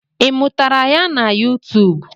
I mụtara ya na yụtụụbụ?